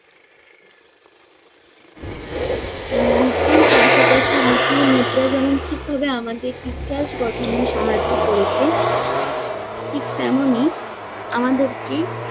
উম লিপির পাশাপাশি লিপি মুদ্রা যেমন ঠিক ভাবে আমাদের ইতিহাস গঠনে সাহায্য করেছে, ঠিক তেমনই আমাদেরকে